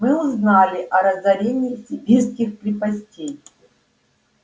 мы узнали о разорении сибирских крепостей